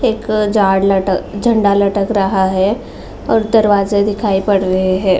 एक झाड़ लटक झंडा लटक रहा है और दरवाज़ें दिखाई पड़ रहे हैं।